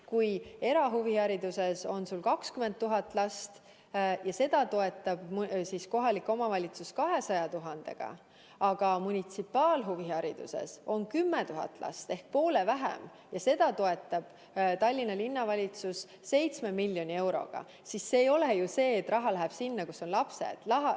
Kui erahuvihariduses on 20 000 last ja seda toetab kohalik omavalitsus 200 000 euroga, aga munitsipaalhuvihariduses on 10 000 last ehk poole vähem ja seda toetab Tallinna Linnavalitsus 7 miljoni euroga, siis ei ole ju nii, et raha läheb sinna, kus on lapsed.